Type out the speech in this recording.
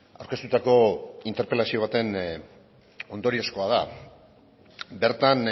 aurkeztutako interpelazio baten ondoriozkoa da bertan